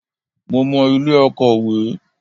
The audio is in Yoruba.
Mo mọ ilé Akòwé.